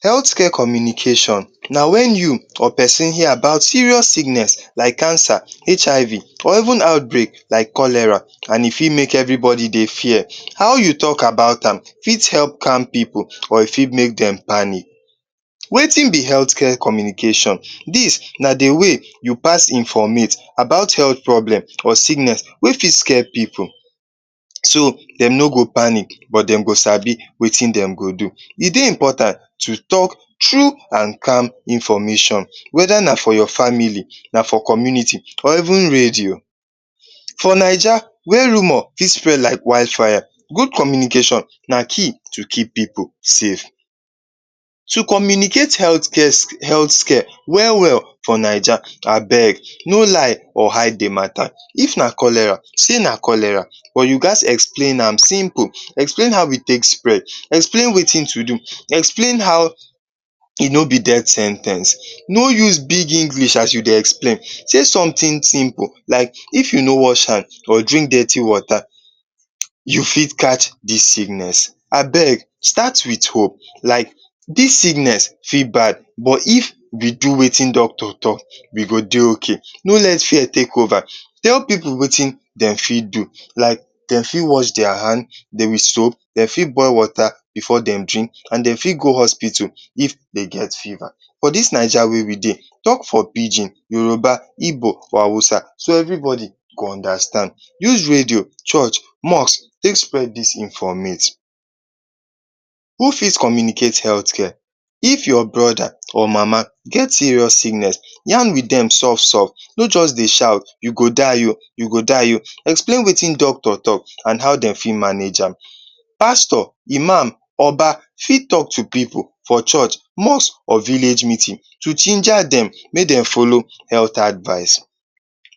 Health care communication na wen you or peson hear about serious sickness like cancer, HIV, or even outbreak like cholera an e fit make everybody dey fear. How you talk about am fit help calm pipu or e fit make dem panic. Wetin be health care communication? Dis na the way you pass informate about health problem or sickness wey fit scare pipu so dem no go panic but dem go sabi wetin dem go do. E dey important to talk true an calm information whether na for your family, na for community or even radio. For Naija wey rumour fit spread like wildfire, good communication na key to keep pipu safe. To communicate health care health care well-well for Naija, abeg, no lie or hide the matter. If na cholera, say na cholera, but you gaz explain am simple. Explain how e take spread, explain wetin to do, explain how e no be death sen ten ce. No use big English as you dey explain. Say something simple like: “If you no wash hand, or drink dirty water, you fit catch dis sickness.” Abeg, start with hope, like “Dis sickness fit bad, but if we do wetin doctor talk, we go dey okay.” No let fear take over. Tell pipu wetin de fit do, like de fit wash dia hand dey with soap, de fit boil water before dem drink, an de fit go hospital if de get fever. For dis Naija wey we dey, talk for Pidgin, Yoruba, Igbo or Hausa so everybody go understand. Use radio, church, mosque, take spread dis informate. Who fit communicate health care? If your brother, or mama get serious illness, yarn with dem soft-soft, no juz dey shout “You go die oh,” “You go die oh.” Explain wetin doctor talk, an how de fit manage am. Pastor, Imam, Oba fit talk to pipu for church, mosque or village meeting to ginger dem make de follow health advice.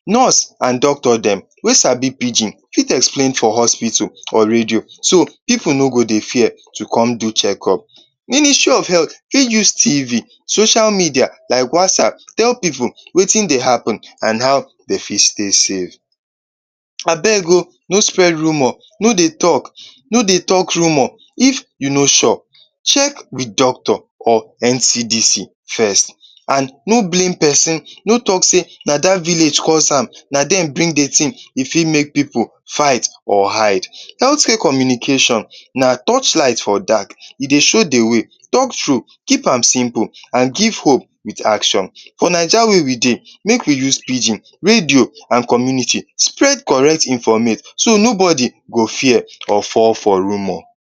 Nurse an doctor dem wey sabi Pidgin fit explain for hospital or radio so pipu no go dey fear to come do checkup. Ministry of health fit use TV, social media like WhatsApp tell pipu wetin dey happen an how de fit stay safe. Abeg oh, no spread rumour. No dey talk. No dey talk rumour if you no sure. Check with doctor or NCDC first, an no blame peson. No talk sey “Na dat village cause am. Na dem bring the tin.” E fit make pipu fight or hide. Health care communication na torchlight for dark. E dey show the way. Talk true, keep am simple, an give hope with action. For Naija wey we dey, make we use Pidgin, radio, an community spread correct informate so nobody go fear or fall for rumour.